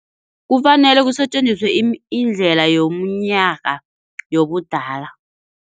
Kufanele kusetjenziswe indlela yomnyaka yobudala.